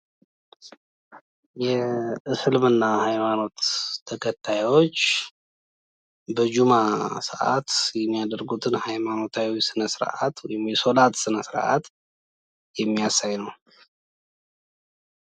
የእስልምና ሀይማኖት ተከታዮች በጁማ ሰአት የሚያደርጉትን ሀይማኖታዊ ስነ ስርአት ወይም የሶላት ስነ ስርአት የሚያሳይ ነው።